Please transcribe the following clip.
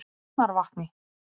Arnarvatni